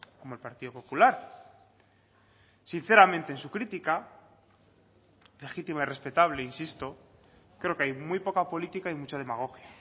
como el partido popular sinceramente en su crítica legítima y respetable insisto creo que hay muy poca política y mucha demagogia